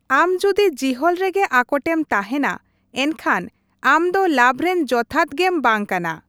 ᱟᱢ ᱡᱩᱫᱤ ᱡᱤᱦᱚᱞ ᱨᱮᱜᱮ ᱟᱠᱚᱴᱮᱢ ᱛᱟᱸᱦᱮᱱᱟ, ᱮᱱᱠᱷᱟᱱ ᱟᱢᱫᱚ ᱞᱟᱵᱷᱨᱮᱱ ᱡᱚᱛᱷᱟᱛ ᱜᱮᱢ ᱵᱟᱝ ᱠᱟᱱᱟ ᱾